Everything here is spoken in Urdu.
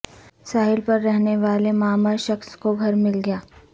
ساحل پر رہنے والے معمر شخص کو گھر مل گیا